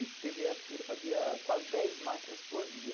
E teve época que ele fazia quase dez máquinas por dia.